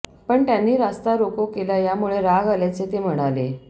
पण त्यांनी रास्ता रोको केला यामुळे राग आल्याचे ते म्हणाले